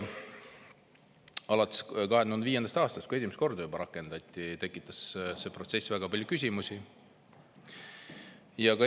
Alates 2005. aastast, kui esimest korda rakendati, on see protsess väga palju küsimusi tekitanud.